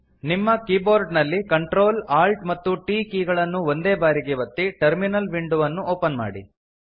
ನಿಮ್ಮ ಕೀಬೋರ್ಡ ನಲ್ಲಿ Ctrl Alt ಮತ್ತು T ಕೀ ಗಳನ್ನು ಒಂದೇಬಾರಿಗೆ ಒತ್ತಿ ಟರ್ಮಿನಲ್ ವಿಂಡೊ ಅನ್ನು ಓಪನ್ ಮಾಡಿ